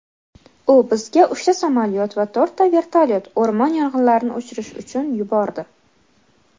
u bizga uchta samolyot va to‘rtta vertolyot (o‘rmon yong‘inlarini o‘chirish uchun) yubordi.